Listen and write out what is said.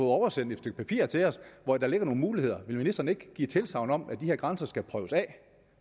oversendt et stykke papir til os hvori der ligger nogle muligheder vil ministeren ikke give tilsagn om at de her grænser skal prøves af